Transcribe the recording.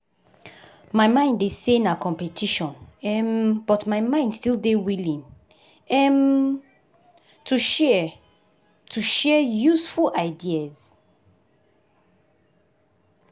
na that joint work in take learn from others while i still dey try to improve my skills.